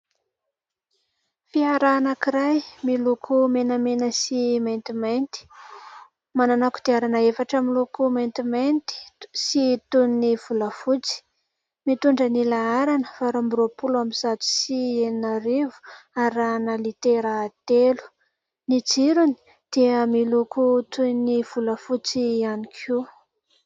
Fiara anankiray miloko menamena sy maintimainty, manana kodiarana efatra miloko maintimainty sy toy ny volafotsy, mitondra ny laharana valo amby roapolo amin'ny zato sy enina arivo arahana litera telo. Ny jirony dia miloko toy ny volafotsy ihany koa.